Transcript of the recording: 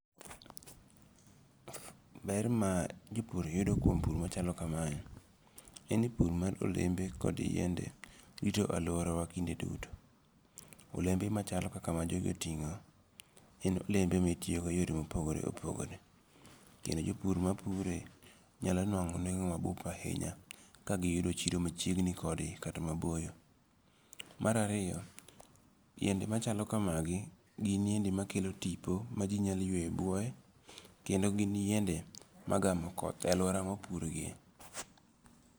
Ber mar jopur yudo kuom pur machalo kamae, en ni pur mar olembe kod yiende rito aluorawa kinde duto. olembe machalo kaka ma jogi otingo', en olembe ma itiyogo e yore ma opogore opogore , kendo jopur mapure nyalo nwango' nwengo' mabup ahinya ka giyudo chiro machiegni kodgi kata maboyo, marariyo, yiende machalo kamagi gin yiende makelo tipo maji nyalo yuweyo e buoye kendo gin yiende magamo koth e aluora ma opurgie.